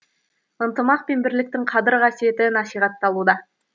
ынтымақ пен бірліктің қадір қасиеті насихатталуда